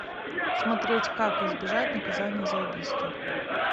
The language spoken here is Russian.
смотреть как избежать наказания за убийство